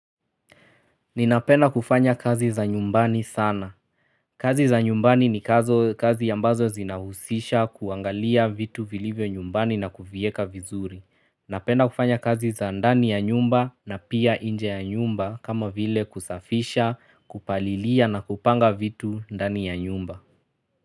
Ninapena kufanya kazi za nyumbani sana. Kazi za nyumbani ni kazi ambazo zinahusisha kuangalia vitu vilivyo nyumbani na kuvieka vizuri. Napenda kufanya kazi za ndani ya nyumba na pia nje ya nyumba kama vile kusafisha, kupalilia na kupanga vitu ndani ya nyumba.